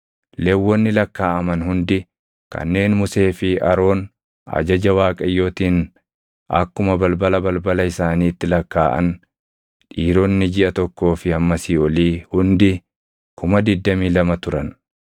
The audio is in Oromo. Lewwonni lakkaaʼaman hundi kanneen Musee fi Aroon ajaja Waaqayyootiin akkuma balbala balbala isaaniitti lakkaaʼan, dhiironni jiʼa tokkoo fi hammasii olii hundi 22,000 turan.